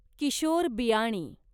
Kishore Biyani